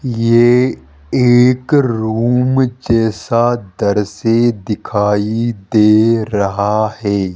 ये एक रूम जैसा दर्शे दिखाई दे रहा है।